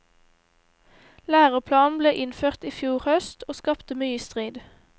Læreplanen ble innført i fjor høst, og skapte mye strid.